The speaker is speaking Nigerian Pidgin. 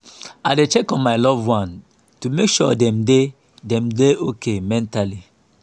i dey check on my loved ones to make sure dem dey dem dey okay mentally.